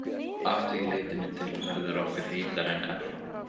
Að því leytinu til verður okkur heitara en ella.